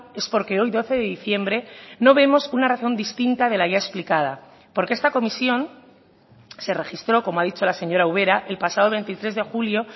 es porque hoy doce de diciembre no vemos una razón distinta de la ya explicada porque esta comisión se registró como ha dicho la señora ubera el pasado veintitrés de julio